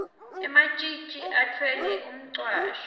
ematjitji atfwele umcwasho